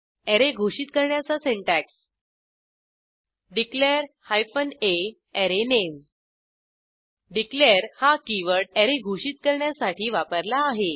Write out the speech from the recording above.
array घोषित करण्याचा syntax declare hyphen a array name declare हा कीवर्ड अॅरे घोषित करण्यासाठी वापरला आहे